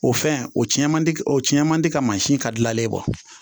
O fɛn o cɛ man di o cɛn man di ka mansin ka gilalen bɔ